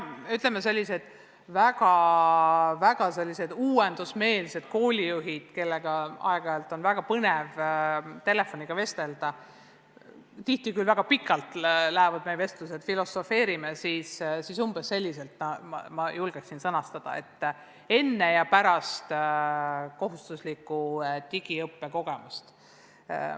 Koos mõningate väga uuendusmeelsete koolijuhtidega, kellega mul on aeg-ajalt olnud väga põnev telefonitsi vestelda – meie vestlused lähevad tihti küll väga pikaks –, oleme selle sõnastanud umbes selliselt: "Enne ja pärast kohustusliku digiõppe kogemust".